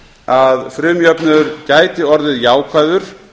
að frumjöfnuður gæti orðið jákvæður